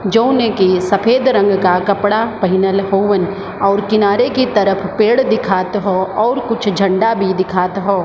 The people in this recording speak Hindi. जो ने की सफ़ेद रंग का कपड़ा पह्न्न्ल होवन और किनारे की तरफ पेड़ दिखात हो और कुछ झंडा भी दिखात हो ।